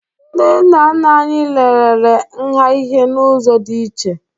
Ndị nna nna anyị lelere nha ihe n'ụzọ dị iche